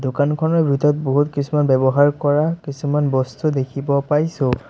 দোকানখনৰ ভিতৰত বহুত কিছুমান ব্যৱহাৰ কৰা কিছুমান বস্তু দেখিব পাইছোঁ।